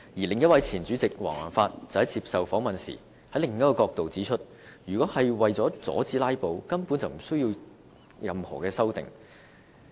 另一位前主席黃宏發接受訪問時，從另一角度指出，如果是為了阻止"拉布"，根本無須作出任何修訂。